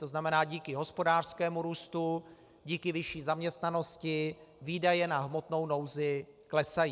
To znamená, díky hospodářskému růstu, díky vyšší zaměstnanosti výdaje na hmotnou nouzi klesají.